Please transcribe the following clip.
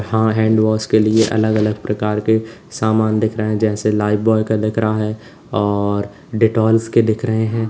हाँ हैंडवॉश के लिए अलग अलग प्रकार के सामान दिख रहे जैसे लाइब्वॉय का दिक रहा है और डेटॉल्स के दिख रहे हैं।